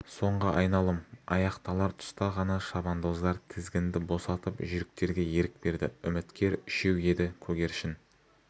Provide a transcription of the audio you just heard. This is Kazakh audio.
соңғы айналым аяқталар тұста ғана шабандоздар тізгінді босатып жүйріктерге ерік берді үміткер үшеу еді көгершін